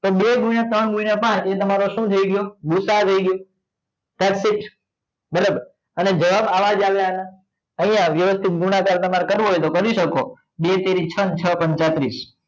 તો બે ગુણ્યા ત્રણ ગુણ્યા પાચ એ તમારો શું થઈ ગયો? ભૂસાઅ થઈ ગયો that sit બરાબર હવે જવાબ આવા જ આવે આના અહીંયા વ્યવસ્થિત ગુણાકાર તમારે કરવો હોય તો કરી શકો બે તેરી છ છ પંચા તીસ